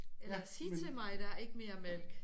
Eller sig til mig der er ikke mere mælk